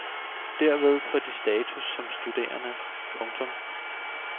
Derved får de status som studerende. punktum